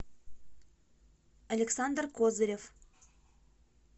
александр козырев